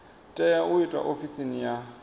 tea u itwa ofisini ya